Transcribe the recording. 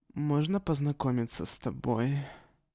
можно познакомиться с тобооой